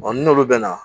ni n'olu bɛn na